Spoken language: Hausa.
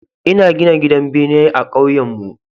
Ina gina gidan bene ah kauyenmu